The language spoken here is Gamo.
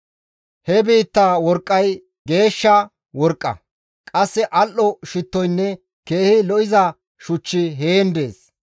He biittaa worqqay geeshsha worqqa; qasse al7o shittoynne keehi lo7iza shuchchi heen dees.